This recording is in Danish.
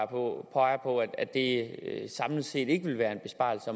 på at det samlet set ikke vil være en besparelse